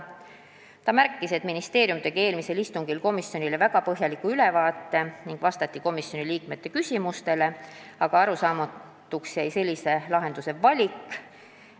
Ta märkis, et ministeerium tegi eelmisel istungil komisjonile väga põhjaliku ülevaate ning vastati komisjoni liikmete küsimustele, aga arusaamatuks jäi sellise lahenduse valik.